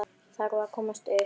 Ég þarf að komast upp.